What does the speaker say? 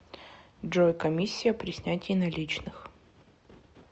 джой комиссия при снятии наличных